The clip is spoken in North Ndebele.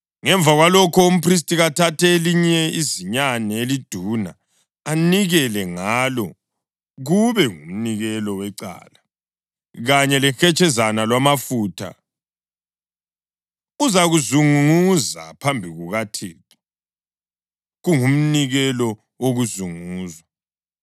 Ngemva kwalokho, umphristi kathathe elinye izinyane eliduna anikele ngalo kube ngumnikelo wecala, kanye lehetshezana lwamafutha; uzakuzunguza phambi kukaThixo, kungumnikelo wokuzunguzwa.